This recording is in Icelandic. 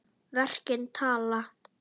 Verkin tala.